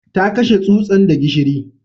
Ta kashe tsutsan da gishiri